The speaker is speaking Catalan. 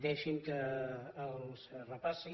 deixin me que els repassi